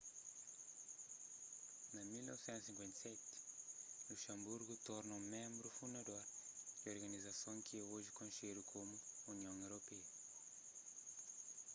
na 1957 luxanburgu torna ménbru fundador di organizason ki é oji konxedu komu union europeia